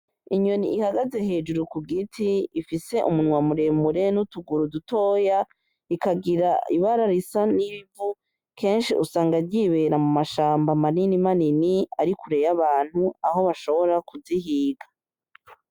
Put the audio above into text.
Inyoni ihagaze hejuru ku giti ifise umunwa muremure n'utuguru dutoya, ikagira ibara risa n'ivu kenshi usanga ryibera mu mashamba manini manini ari kure y'abantu aho bashobora kuzihiga.